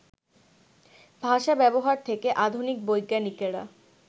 ভাষা-ব্যবহার থেকে আধুনিক বৈজ্ঞানিকেরা